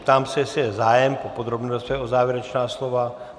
Ptám se, jestli je zájem po podrobné rozpravě o závěrečná slova.